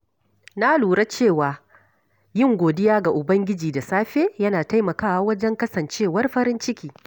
Na lura cewa yin godiya ga ubangiji da safe yana taimakawa wajen kasancewar farin ciki.